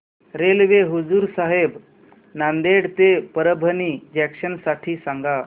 railway Hazur Sahib Nanded ते Parbhani junction साठी सांगा